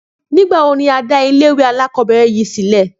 Nígbà wo ni a dá ilé ìwé alákòóbèrè yìí sílè?